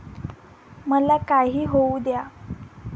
मला काही होऊ द्या.